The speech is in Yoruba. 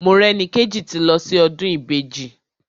Morẹ́nikéjì ti lọ sí ọdún Ìbejì.